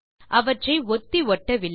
அவற்றை ஒத்தி ஒட்டவில்லை